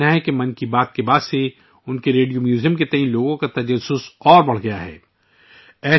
ان کا کہنا ہے کہ ' من کی بات ' کے بعد ، ان کے ریڈیو میوزیم کے بارے میں لوگوں کا تجسس مزید بڑھ گیا ہے